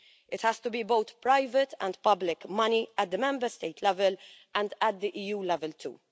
It has to be both private and public money at the Member State level and at the EU level too.